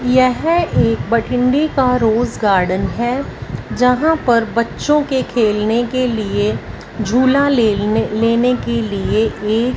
यह एक भठिंडे का रोज गार्डन है जहां पर बच्चों के खेलने के लिए झूला लेल लेने के लिए ए--